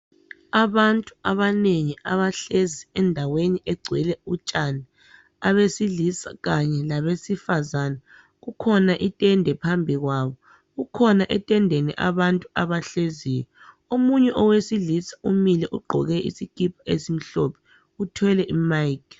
Abantu abanengi abahlezi endaweni egcwele utshani abesilisa kanye labesifazana. Kukhona itende phambi kwabo, kukhona etendeni abantu abahleziyo. Omunye owesilisa umile ugqoke isikipa esimhlophe uthwele imayikhi.